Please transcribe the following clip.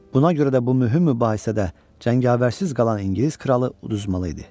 Buna görə də bu mühüm mübahisədə cəngavərsiz qalan İngilis kralı uduzmalı idi.